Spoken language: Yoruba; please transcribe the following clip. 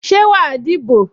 Ṣé wà á dìbò?